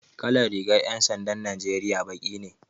Kalar rigan 'yan sandan Najeriya baki ne.